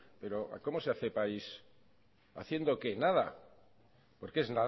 pero cómo se hace país haciendo qué nada porque es